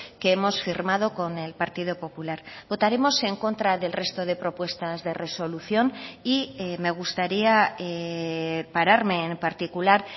que hemos firmado con el partido popular votaremos en contra del resto de propuestas de resolución y me gustaría pararme en particular